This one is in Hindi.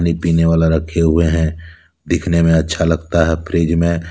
पीने वाला रखे हुए हैं दिखने में अच्छा लगता है फ्रिज में--